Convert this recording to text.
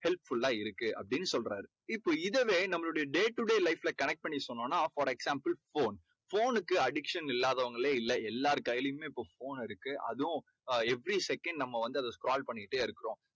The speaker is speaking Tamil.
helpful லா இருக்கு அப்படீன்னு சொல்றாரு. இப்போ இதவே நம்மளுடைய day to day life ல connect பண்ணி சொன்னோம்னா for example phone phone னுக்கு addiction இல்லாதவங்களே இல்லை. எல்லார் கையிலேயும் இப்போ phone இருக்கு. அதுவும் அஹ் every second நம்ம வந்து அதை scroll பண்ணிகிட்டே இருக்குறோம்.